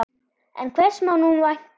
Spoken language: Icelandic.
En hvers má nú vænta?